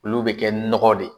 Olu bɛ kɛ nɔgɔ de